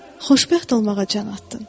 Xoşbəxt olmağa can atdın.